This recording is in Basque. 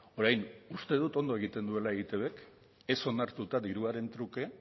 orain uste dut ondo egiten duela eitbek ez onartuta diruaren truke